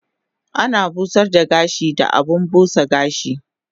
Ana busar da gashi da abun busa gashi